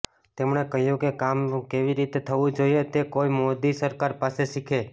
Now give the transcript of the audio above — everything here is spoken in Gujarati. તેમણે કહ્યું કે કામ કેવી રીતે થવું જોઇએ તે કોઈ મોદી સરકાર પાસે શીખે